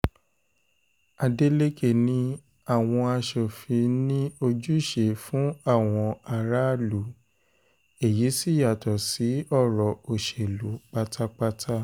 adélèkẹ̀ ni àwọn aṣòfin ní ojúṣe fún àwọn aráàlú èyí sì yàtọ̀ sí ọ̀rọ̀ òṣèlú pátápátá